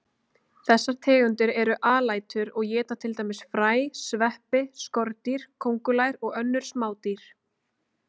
Þessar tegundir eru alætur og éta til dæmis fræ, sveppi, skordýr, kóngulær og önnur smádýr.